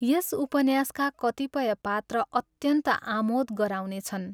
यस उपन्यासका कतिपय पात्र अत्यन्त आमोद गराउने छन्।